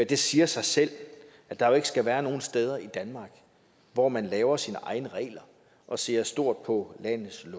det siger sig selv at der ikke skal være nogen steder i danmark hvor man laver sine egne regler og ser stort på landets